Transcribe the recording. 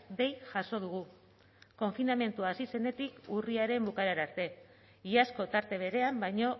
dei jaso dugu konfinamendua hasi zenetik urriaren bukaera arte iazko tarte berean baino